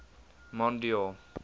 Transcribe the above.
mondeor